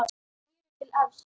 Mér er til efs.